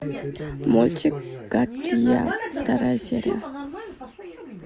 мультик гадкий я вторая серия